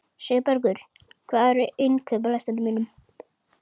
Sigurbergur, hvað er á innkaupalistanum mínum?